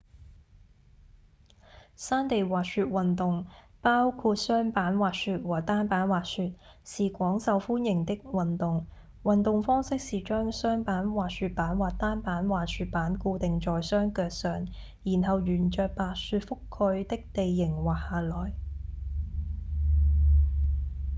山地滑雪運動包括雙板滑雪和單板滑雪是廣受歡迎的運動運動方式是將雙板滑雪板或單板滑雪板固定在雙腳上然後沿著白雪覆蓋的地形滑下來